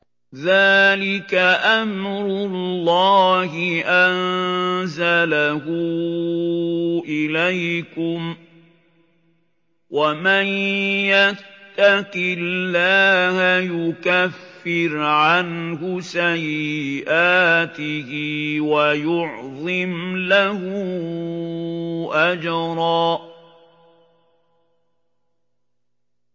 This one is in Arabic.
ذَٰلِكَ أَمْرُ اللَّهِ أَنزَلَهُ إِلَيْكُمْ ۚ وَمَن يَتَّقِ اللَّهَ يُكَفِّرْ عَنْهُ سَيِّئَاتِهِ وَيُعْظِمْ لَهُ أَجْرًا